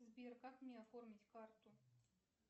сбер как мне оформить карту